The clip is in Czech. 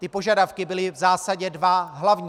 Ty požadavky byly v zásadě dva hlavní.